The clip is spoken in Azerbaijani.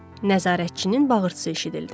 Nəzarətçinin bağırtısı eşidildi.